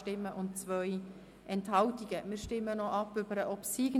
SiK-Mehrheit gegen Antrag Regierungsrat)